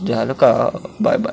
झालं का अ बाय बाय .